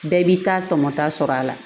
Bɛɛ b'i ta tɔmɔta sɔrɔ a la